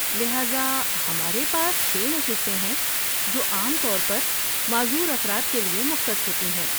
لہذا ہمارے پاس چھ نشستیں ہیں جو عام طور پر معذور افراد کے لیے مختص ہوتی ہیں۔